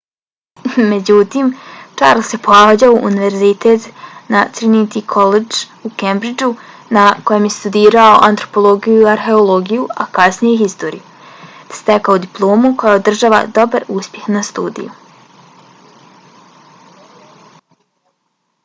međutim charles je pohađao univerzitet na trinity collegeu u cambridgeu na kojem je studirao antropologiju i arheologiju a kasnije i historiju te stekao diplomu koja odražava dobar uspjeh na studiju